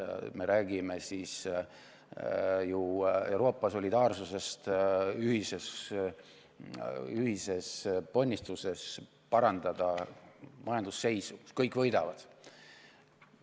Me räägime ju Euroopa solidaarsusest, ühisest ponnistusest parandada majandusseisu, millega kõik võidavad.